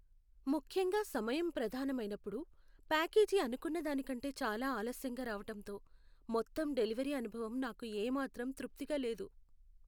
ముఖ్యంగా సమయం ప్రధానం అయినప్పుడు, ప్యాకేజీ అనుకున్న దానికంటే చాలా ఆలస్యంగా రావటంతో, మొత్తం డెలివరీ అనుభవం నాకు ఏమాత్రం తృప్తిగా లేదు.